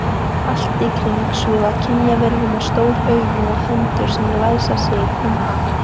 Allt í kring svífa kynjaverur með stór augu og hendur sem læsa sig um hann.